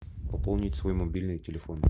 пополнить свой мобильный телефон